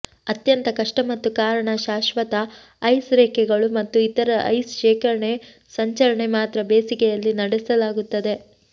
ಅತ್ಯಂತ ಕಷ್ಟ ಮತ್ತು ಕಾರಣ ಶಾಶ್ವತ ಐಸ್ ರೇಖೆಗಳು ಮತ್ತು ಇತರ ಐಸ್ ಶೇಖರಣೆ ಸಂಚರಣೆ ಮಾತ್ರ ಬೇಸಿಗೆಯಲ್ಲಿ ನಡೆಸಲಾಗುತ್ತದೆ